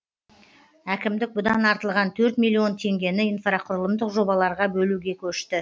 әкімдік бұдан артылған төрт миллион теңгені инфрақұрылымдық жобаларға бөлуге көшті